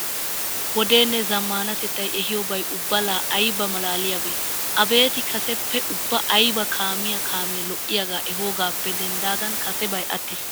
Wodeenne zammaanatettay ehiyobay ubba laa ayba malaaliyabee! Abeeti kaseppe kaseppe ubba ay mala kaamiya kaamiya lo'iyagaa ehoogaappe denddidaagan kasebay attiis.